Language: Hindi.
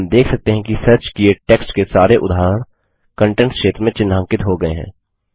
हम देख सकते हैं कि सर्च किए टेक्स्ट के सारे उदाहरण कंटेंट्स क्षेत्र में चिह्नांकित हो गये हैं